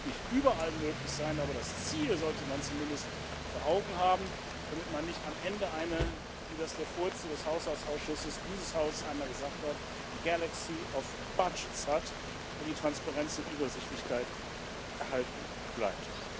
Das wird auch nicht überall möglich sein, aber das Ziel sollte man zumindest vor Augen haben, damit man nicht am Ende eine wie das der Vorsitzende des Haushaltsausschusses dieses Haus einmal gesagt hat Galaxy of Budgets hat und die Transparenz und Übersichtlichkeit erhalten bleibt.